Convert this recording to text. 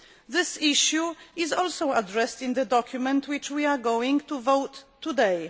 This issue is also addressed in the document we are going to vote on today.